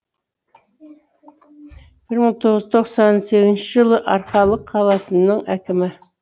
бір мың тоғыз жүз тоқсан сегізінші жылы арқалық қаласының әкімі